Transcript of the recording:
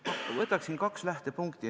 Ma võtaksin kaks lähtepunkti.